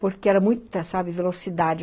Porque era muita, sabe, velocidade.